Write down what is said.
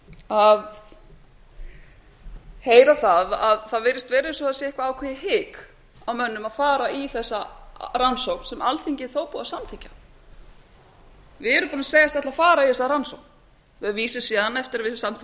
að heyra að það virðist vera eins og það sé eitthvað ákveðið hik á mönnum að fara í þessa rannsókn sem alþingi var þó búið að samþykkja við erum búin að segjast ætla að fara í þessa rannsókn eftir að við samþykktum